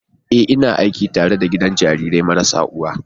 Ee! Ina aiki a gidan jarirai marasa uwa.